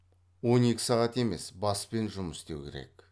он екі сағат емес баспен жұмыс істеу керек